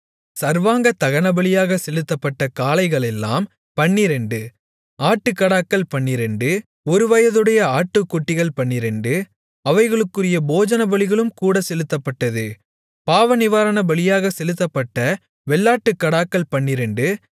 சர்வாங்கதகனபலியாகச் செலுத்தப்பட்ட காளைகளெல்லாம் பன்னிரண்டு ஆட்டுக்கடாக்கள் பன்னிரண்டு ஒருவயதுடைய ஆட்டுக்குட்டிகள் பன்னிரண்டு அவைகளுக்குரிய போஜனபலிகளும் கூடச் செலுத்தப்பட்டது பாவநிவாரணபலியாகச் செலுத்தப்பட்ட வெள்ளாட்டுக்கடாக்கள் பன்னிரண்டு